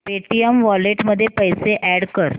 Paytm wallet मध्ये पैसे add कर